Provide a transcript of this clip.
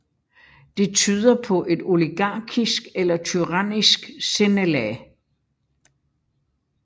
Det tyder på et oligarkisk eller tyrannisk sindelag